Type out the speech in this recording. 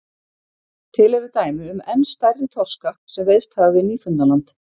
Til eru dæmi um enn stærri þorska sem veiðst hafa við Nýfundnaland.